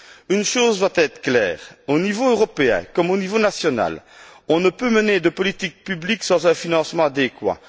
Une chose doit être claire au niveau européen, comme au niveau national, on ne peut mener de politique publique sans un financement adéquat.